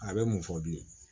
A bɛ mun fɔ bilen